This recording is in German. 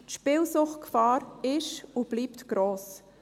Die Spielsuchtgefahr ist und bleibt gross.